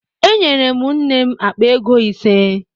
Enyere m nne m akpa ego ise